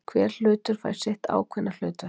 Hver hlutur fékk sitt ákveðna hlutverk.